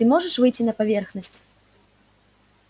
ты можешь выйти на поверхность